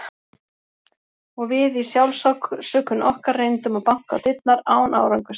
Og við í sjálfsásökun okkar reyndum að banka á dyrnar, án árangurs.